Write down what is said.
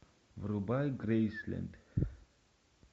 врубай грейсленд